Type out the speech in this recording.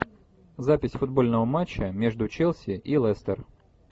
запись футбольного матча между челси и лестер